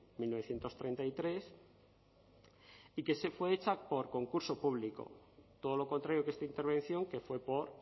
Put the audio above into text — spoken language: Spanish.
mil novecientos treinta y tres y que fue hecha por concurso público todo lo contrario que esta intervención que fue por